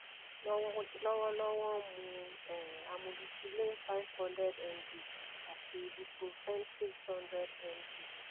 lọwọlọwọ n mu um amoxicillin five hundred mg ati ibuprofen six hundred mg